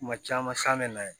Kuma caman san bɛ na yen